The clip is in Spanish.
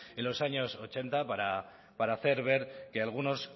en los años ochenta para hacer ver que algunos